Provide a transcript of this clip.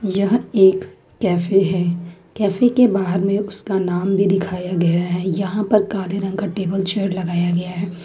यह एक कैफे है कैफे के बाहर में उसका नाम भी दिखाया गया है यहां पर काले रंग का टेबल चेयर लगाया गया है।